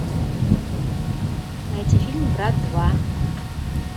найти фильм брат два